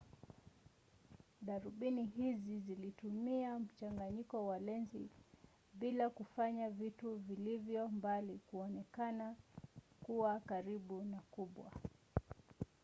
darubini hizi zilitumia mchanganyiko wa lenzi mbili kufanya vitu vilivyo mbali kuonekana kuwakaribu na kubwa